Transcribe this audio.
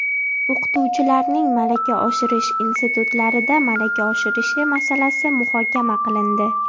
O‘qituvchilarning malaka oshirish institutlarida malaka oshirishi masalasi muhokama qilindi.